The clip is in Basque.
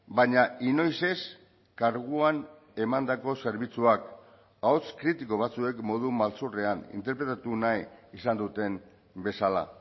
baina inoiz ez karguan emandako zerbitzuak ahots kritiko batzuek modu maltzurrean interpretatu nahi izan duten bezala